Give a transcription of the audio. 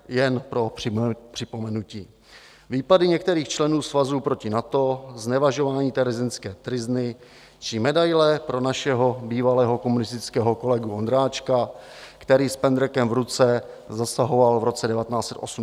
Jen pro připomenutí: výpady některých členů svazu proti NATO, znevažování terezínské tryzny či medaile pro našeho bývalého komunistického kolegu Ondráčka, který s pendrekem v ruce zasahoval v roce 1989 proti demonstrantům.